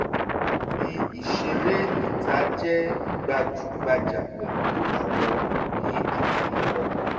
ibi ìṣeré ìta jẹ́ gbajúgbajà pẹ̀lú àwọn òbí àti ọmọ